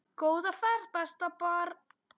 Góða ferð besta barn.